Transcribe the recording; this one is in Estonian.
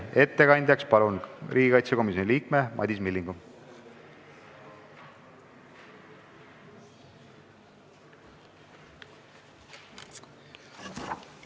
Ettekandeks palun kõnetooli riigikaitsekomisjoni liikme Madis Millingu!